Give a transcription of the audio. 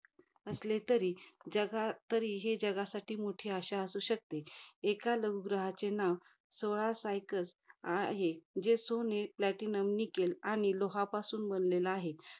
असले तरी, जगा~ तरी हे जगासाठी मोठी आशा असू शकते. एका लघु ग्रहाचे नाव, सोळा सायकस, आहे. जे सोने platinum nickel आणि लोहापासून बनलेला आहे.